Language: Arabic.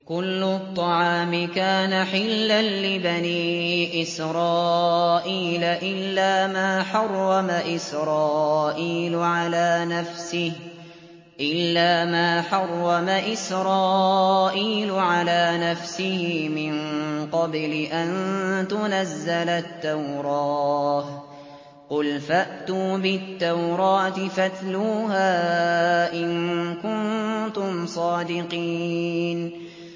۞ كُلُّ الطَّعَامِ كَانَ حِلًّا لِّبَنِي إِسْرَائِيلَ إِلَّا مَا حَرَّمَ إِسْرَائِيلُ عَلَىٰ نَفْسِهِ مِن قَبْلِ أَن تُنَزَّلَ التَّوْرَاةُ ۗ قُلْ فَأْتُوا بِالتَّوْرَاةِ فَاتْلُوهَا إِن كُنتُمْ صَادِقِينَ